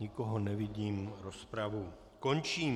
Nikoho nevidím, rozpravu končím.